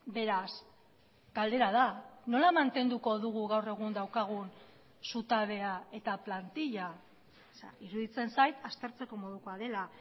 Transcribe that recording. beraz galdera da nola mantenduko dugu gaur egun daukagun zutabea eta plantila iruditzen zait aztertzeko modukoa dela